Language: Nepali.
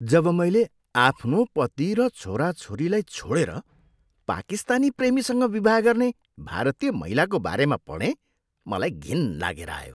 जब मैले आफ्नो पति र छोराछोरीलाई छोडेर पाकिस्तानी प्रेमीसँग विवाह गर्ने भारतीय महिलाको बारेमा पढेँ मलाई घिन लागेर आयो।